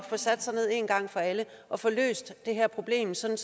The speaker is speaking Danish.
sat sig ned én gang for alle og få løst det her problem sådan